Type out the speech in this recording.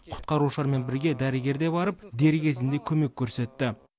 құтқарушылармен бірге дәрігер де барып дер кезінде көмек көрсетті